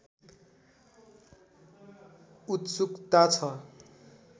उत्सुकता छ